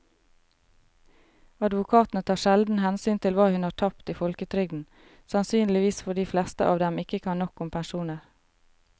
Advokatene tar sjelden hensyn til hva hun har tapt i folketrygden, sannsynligvis fordi de fleste av dem ikke kan nok om pensjoner.